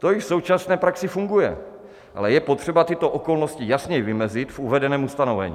To již v současné praxi funguje, ale je potřeba tyto okolnosti jasně vymezit v uvedeném ustanovení.